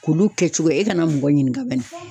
K'olu kɛcogo e kana mɔgɔ ɲininka bɛni.